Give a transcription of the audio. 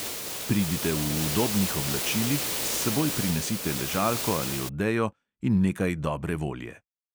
Pridite v udobnih oblačilih, s seboj prinesite ležalko ali odejo in nekaj dobre volje.